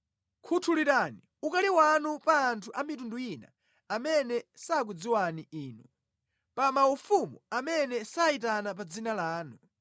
Khuthulirani ukali wanu pa anthu a mitundu ina amene sakudziwani Inu, pa maufumu amene sayitana pa dzina lanu;